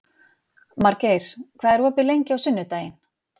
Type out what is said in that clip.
Margeir, hvað er opið lengi á sunnudaginn?